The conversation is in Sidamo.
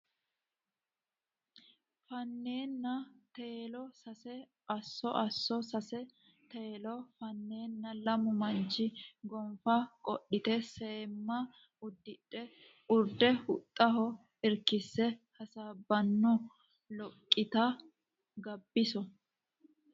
fannenna Teelo Sase Asso Asso Sase Teelo fannenna lamu manchi gonfa qodhite seemma uddidhe urde huxxaho irkisse hasaabbanno Loggiti Gabbiso !